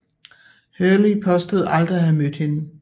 Hurley påstår aldrig at have mødt hende